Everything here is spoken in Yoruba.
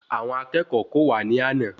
Àwọn akẹ́kọ̀ọ́ kò wa ní àna